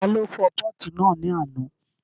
Ta ló fọ pọ́ọ̀tù náà ní àná?